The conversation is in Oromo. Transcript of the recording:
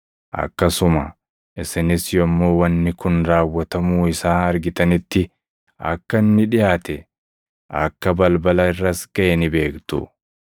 Akkasuma isinis yommuu wanni kun raawwatamuu isaa argitanitti akka inni dhiʼaate, akka balbala irras gaʼe ni beektu.